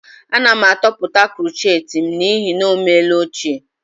Ana m atọpụta krochet m n'ihi na ọ meela ochie